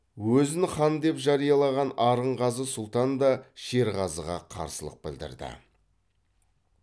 өзін хан деп жариялаған арынғазы сұлтан да шерғазыға қарсылық білдірді